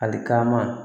Ali kaman